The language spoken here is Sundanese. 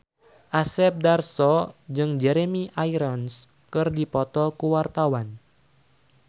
Asep Darso jeung Jeremy Irons keur dipoto ku wartawan